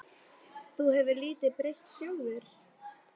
Þú hefur nú lítið breyst sjálfur.